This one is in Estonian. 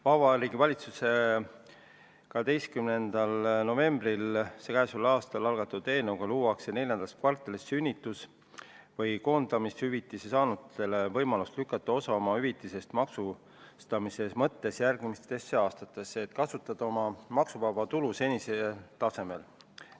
Vabariigi Valitsuse k.a 12. novembril algatatud eelnõuga luuakse neljandas kvartalis sünnitus- või koondamishüvitise saanutele võimalus lükata osa oma hüvitisest maksustamise mõttes järgmisesse aastasse, et kasutada oma maksuvaba tulu senisel tasemel.